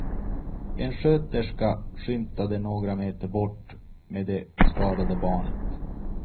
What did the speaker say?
En sköterska skymtade några meter bort med det skadade barnet.